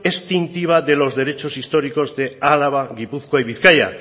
extintiva de los derechos históricos de álava gipuzkoa y bizkaia